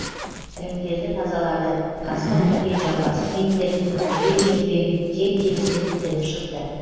іріңдерді тазалады қасқыр тілген жамбастың еттерін жібек жіппен теп тегіс етіп тігіп шықты